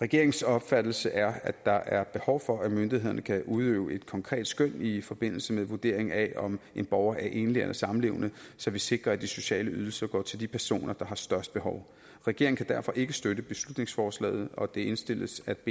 regeringens opfattelse er at der er behov for at myndighederne kan udøve et konkret skøn i forbindelse med vurderingen af om en borger er enlig eller samlevende så vi sikrer at de sociale ydelser går til de personer der har størst behov regeringen kan derfor ikke støtte beslutningsforslaget og det indstilles at b